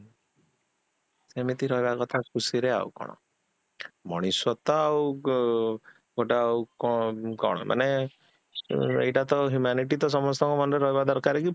ସେମିତି ରହିବ କଥା ଖୁସି ରେ ଆଉ କଣ ମଣିଷତ ଆଉ ଅ ଗୋଟେ ଆଉ କଣ ମାନେ ଏଟା ତ humanity ସମସ୍ତଙ୍କ ମନରେ ରହିବ ଦରକାର କି